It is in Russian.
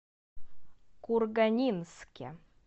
курганинске